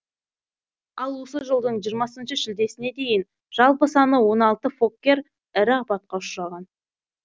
ал осы жылдың жиырмасыншы шілдесіне дейін жалпы саны он алты фоккер ірі апатқа ұшыраған